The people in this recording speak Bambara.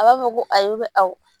A b'a fɔ ko ayi awɔ